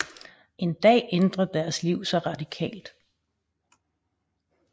En dag ændrer deres liv sig radikalt